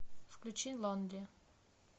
включи лонли